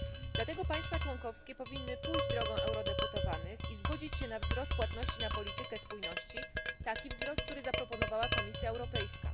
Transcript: Dlatego państwa członkowskie powinny pójść drogą eurodeputowanych i zgodzić się na wzrost płatności na politykę spójności, taki wzrost, który zaproponowała Komisja Europejska.